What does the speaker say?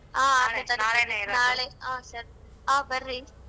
ಹಾ ಸರಿ ಹಾ ಬರ್ರಿ.